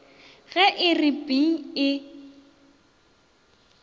ge e re ping e